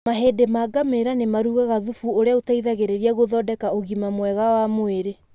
Mahĩndĩ ma ngamĩra nĩ marugaga thubu ũrĩa ũteithagĩrĩria gũthondeka ũgima mwega wa mwĩrĩ.